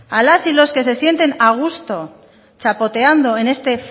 a las y los que se sienten a gusto chapoteando en este